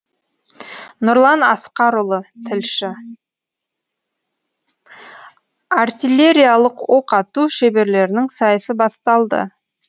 нұрлан асқарұлы тілші артиллериялық оқ ату шеберлерінің сайысы басталды